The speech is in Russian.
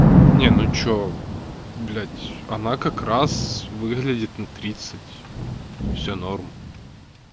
не ну что блять она как раз выглядит на тридцать всё норм